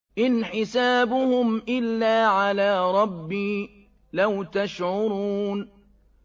إِنْ حِسَابُهُمْ إِلَّا عَلَىٰ رَبِّي ۖ لَوْ تَشْعُرُونَ